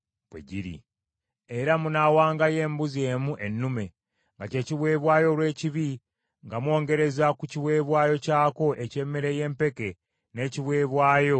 Era munaawangayo embuzi emu ennume, nga kye kiweebwayo olw’ekibi nga mwongereza ku kiweebwayo kyako eky’emmere y’empeke n’ekiweebwayo ekyokunywa.